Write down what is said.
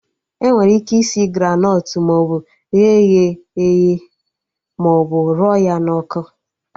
Enwere ike isi Granọt maọbụ ghe ya eghe maọbụ rụọ ya n'ọkụ